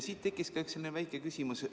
Siit tekkis ka väike küsimus.